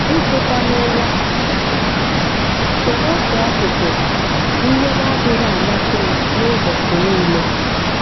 Ịteta n'ụra so ná otu akụkụ ihe na-adịghị amasị m n'ubochi niile.